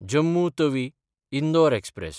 Jammu तवी–इंदोर express